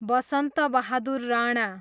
Basantabahadur Rana